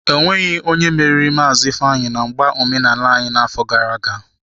Ọ nweghi onye meriri Maazi Ifeanyi na mgba omenala anyi n'afo gara aga.